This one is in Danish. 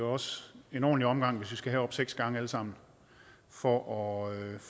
også en ordentlig omgang hvis vi skal herop seks gange alle sammen for at